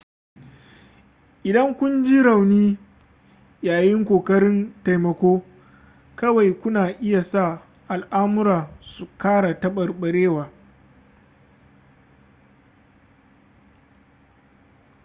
idan kun ji rauni yayin ƙoƙarin taimako kawai kuna iya sa al'amura su kara taɓarɓarewa